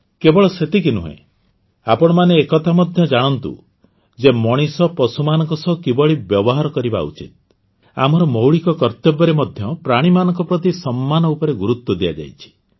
କେବଳ ସେତିକି ନୁହେଁ ଆପଣମାନେ ଏ କଥା ମଧ୍ୟ ଜଣାନ୍ତୁ ଯେ ମଣିଷ ପଶୁମାନଙ୍କ ସହ କିଭଳି ବ୍ୟବହାର କରିବା ଉଚିତ ଆମର ମୌଳିକ କର୍ତ୍ତବ୍ୟରେ ମଧ୍ୟ ପ୍ରାଣୀମାନଙ୍କ ପ୍ରତି ସମ୍ମାନ ଉପରେ ଗୁରୁତ୍ୱ ଦିଆଯାଇଛି